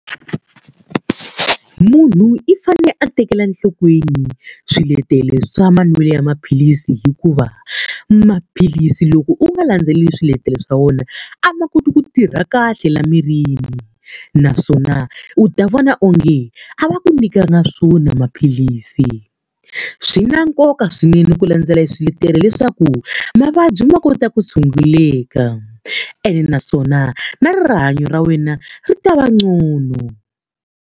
Munhu i fanele a tekela enhlokweni swiletelo swa manwelo ya maphilisi hikuva, maphilisi loko u nga landzeleli swiletelo swa wona a ma koti ku tirha kahle laha mirini. Naswona u ta vona onge a va ku nyikanga swona maphilisi. Swi na nkoka swinene ku landzela swiletelo leswaku mavabyi ma kota ku tshunguleka. Ene naswona na rihanyo ra wena ri ta va ngcono.